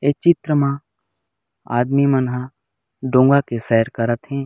ए चित्र म आदमी मन ह डोंगा के सैर करत हे।